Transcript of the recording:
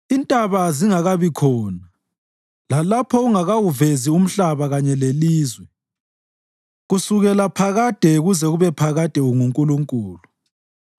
Izintaba zingakabikhona lalapho ungakawuvezi umhlaba kanye lelizwe, kusukela phakade kuze kube phakade unguNkulunkulu.